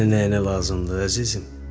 Necə yəni nəyinə lazımdır, əzizim?